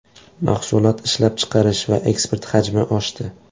Mahsulot ishlab chiqarish va eksport hajmi oshdi.